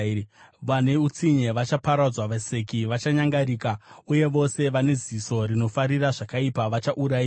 Vane utsinye vachaparadzwa, vaseki vachanyangarika, uye vose vane ziso rinofarira zvakaipa vachaurayiwa,